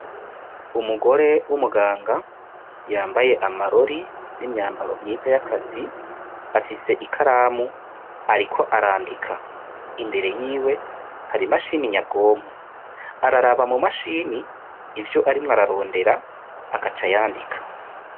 Umugore w' umuganga yambaye amarori n' imyambaro myiza y'akazi afise ikaramu ariko arandika imbere yiwe hari imashini nyabwonko araraba mu mashini ivyo arimwo ararondera agaca yandika.